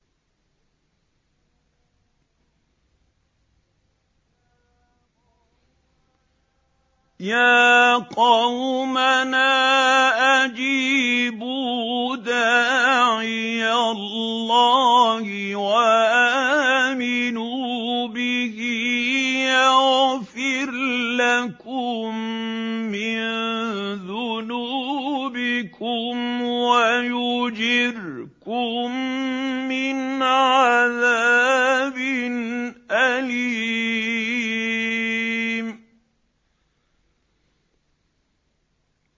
يَا قَوْمَنَا أَجِيبُوا دَاعِيَ اللَّهِ وَآمِنُوا بِهِ يَغْفِرْ لَكُم مِّن ذُنُوبِكُمْ وَيُجِرْكُم مِّنْ عَذَابٍ أَلِيمٍ